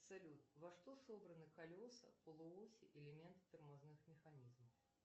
салют во что собраны колеса полуоси элемент тормозных механизмов